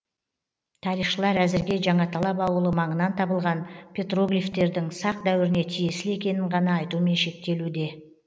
тарихшылар әзірге жаңаталап ауылы маңынан табылған петроглифтердің сақ дәуіріне тиесілі екенін ғана айтумен шектелуде